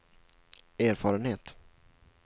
erfarenhet